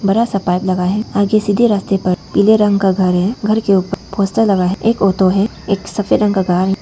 बड़ा सा पाइप है आगे सीधे रास्ते पर पीले रंग का घर है घर के ऊपर पोस्टर लगा है एक ओटो है एक सफेद रंग का कार --